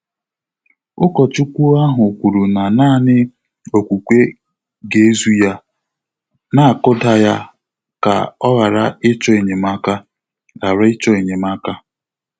Ụ́kọ́chúkwú áhụ́ kwùrù nà nāànị́ ókwúkwé gà-ézù yá, nà-ákụ́dà yá kà ọ́ ghàrà ị́chọ́ ényémáká. ghàrà ị́chọ́ ényémáká.